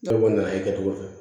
Ne kɔni nana kɛ cogo di